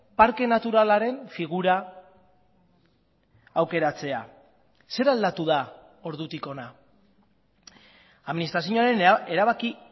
parke naturalaren figura aukeratzea zer aldatu da ordutik hona administrazioaren erabaki